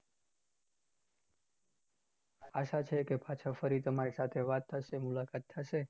આશા છે કે પાછા ફરી તમારી સાથે વાત થશે મુલાકાત થશે